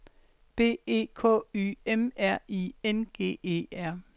B E K Y M R I N G E R